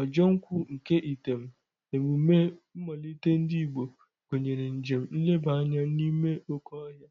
Ojo nkwu nke item, emume nmalite ndi Igbo, gunyere njem nleba anya n'ime oke ohia,